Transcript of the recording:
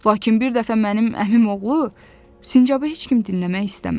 Lakin bir dəfə mənim əmimoğlu sincabı heç kim dinləmək istəmədi.